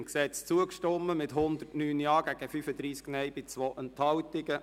Sie haben dem Gesetz zugestimmt mit 109 Ja- gegen 35 Nein-Stimmen bei 2 Enthaltungen.